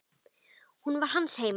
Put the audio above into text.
Hún var hans heima.